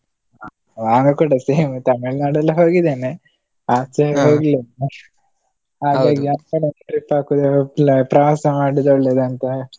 ನಾನು ಕೂಡ same ತಮಿಳುನಾಡೆಲ್ಲ ಹೋಗಿದ್ದೇನೆ, ಆಚೆ ಆ ಕಡೆ ಒಂದು trip ಹಾಕುದೆ ಇಲ್ಲ ಪ್ರವಾಸ ಮಾಡೋದು ಒಳ್ಳೇದಂತ.